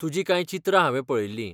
तुजीं कांय चित्रां हांवें पळयिल्लीं.